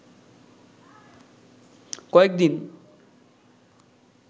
কয়েকদিন